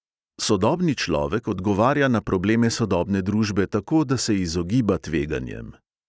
Sodobni človek odgovarja na probleme sodobne družbe tako, da se izogiba tveganjem.